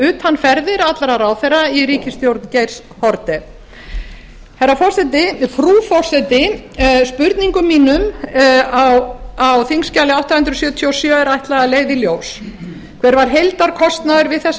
utanferðir allra ráðherra í ríkisstjórn geirs haarde frú forseti spurningum mínum á þingskjali átta hundruð sjötíu og sjö er ætlað að leiða í ljós hver var heildarkostnaður við þessa